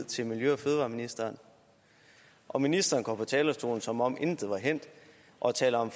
til miljø og fødevareministeren og ministeren går på talerstolen som om intet var hændt og taler om